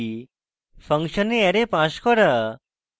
function a array pass করা